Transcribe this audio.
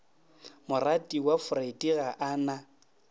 moratiwa freddie ga a na